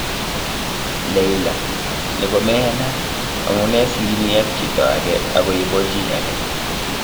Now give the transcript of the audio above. Leila:" Ni komeyanat, amune sii imi ak chito age ago ibo chi age